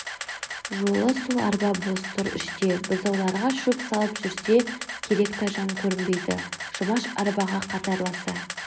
жолы сол арба бос тұр іште бұзауларға шөп салып жүрсе керек тайжан көрінбейді жұмаш арбаға қатарласа